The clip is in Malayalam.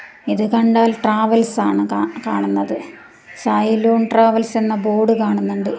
ഇത് കണ്ടാൽ ട്രാവൽസ് ആണ് കാണുന്നത് സായിലൂൺ ട്രാവൽസ് എന്ന ബോർഡ് കാണുന്നുണ്ട്.